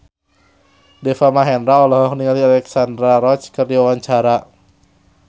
Deva Mahendra olohok ningali Alexandra Roach keur diwawancara